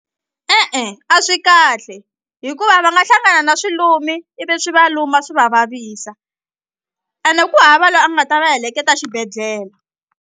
E-e a swi kahle hikuva va nga hlangana na swilumi ivi swi va luma swi va vavisa ene ku hava loyi a nga ta va heleketa xibedhlele.